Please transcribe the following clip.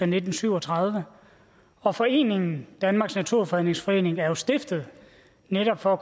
nitten syv og tredive og foreningen danmarks naturfredningsforening er jo stiftet netop for at